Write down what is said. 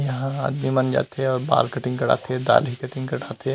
यहाँ आदमी मन जाथे अउ बाल कटिंग करवाथे दाढ़ी कटिंग करवाथे।